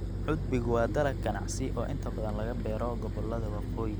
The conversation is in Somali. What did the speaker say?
Cudbigu waa dalag ganacsi oo inta badan laga beero gobollada waqooyi.